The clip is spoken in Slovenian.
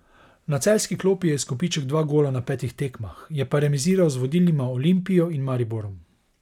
Na celjski klopi je izkupiček dva gola na petih tekmah, je pa remiziral z vodilnima Olimpijo in Mariborom.